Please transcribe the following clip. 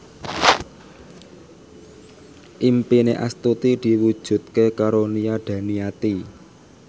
impine Astuti diwujudke karo Nia Daniati